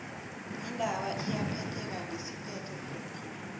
indaba iyaphetheka ngesiphetho phekghu